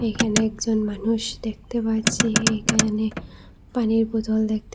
এখানে একজন মানুষ দেখতে পারছি এখানে পানির বোতল দেখতে--